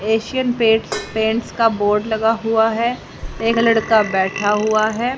Asian Paints paints का board लगा हुआ है एक लड़का बैठा हुआ है।